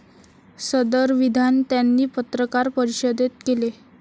सदर विधान त्यांनी पत्रकार परिषदेत केले.